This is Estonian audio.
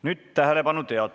Nüüd tähelepanu!